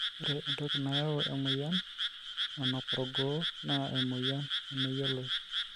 ore entoki nayau emoyian nanuk orgoo naa emoyian nemeyioloi